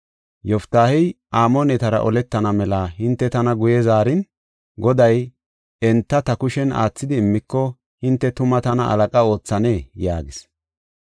Yoftaahey, “Amoonetara oletana mela hinte tana guye zaarin, Goday enta ta kushen aathidi immiko, hinte tuma tana halaqa oothanee?” yaagis.